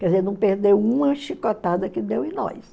Quer dizer, não perdeu uma chicotada que deu em nós.